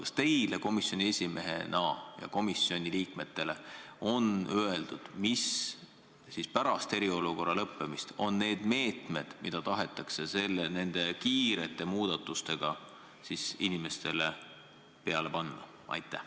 Kas teile komisjoni esimehena ja teistele komisjoni liikmetele on öeldud, millised on pärast eriolukorra lõppemist need meetmed, mida nende kiirete muudatustega tahetakse inimestele peale panna?